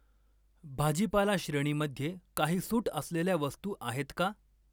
भाजीपाला श्रेणीमध्ये काही सूट असलेल्या वस्तू आहेत का?